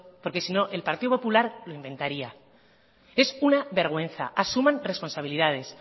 porque sino el partido popular lo inventaría es una vergüenza asuman responsabilidades